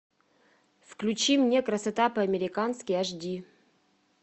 включи мне красота по американски аш ди